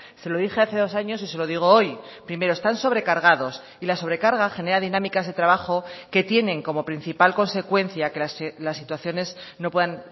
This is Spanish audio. se lo dije hace dos años y se lo digo hoy primero están sobrecargados y la sobrecarga genera dinámicas de trabajo que tienen como principal consecuencia que las situaciones no puedan